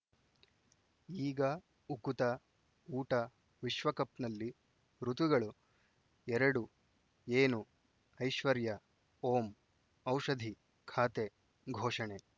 ಈಗ ಉಕುತ ಊಟ ವಿಶ್ವಕಪ್‌ನಲ್ಲಿ ಋತುಗಳು ಎರಡು ಏನು ಐಶ್ವರ್ಯಾ ಓಂ ಔಷಧಿ ಖಾತೆ ಘೋಷಣೆ